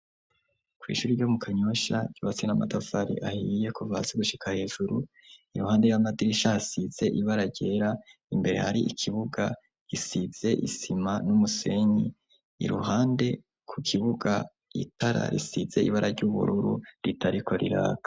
Kw'ishuri ryo mu Kanyosha ryubatse n'amatafari ahiye kuva hasi gushika hejuru. Iruhande y'amadiriisha, hasize ibara ryera, imbere har'ikibuga gisize isima n'umusenyi. Iruhande ku kibuga, itara risize ibara ry'ubururu ritako riraka.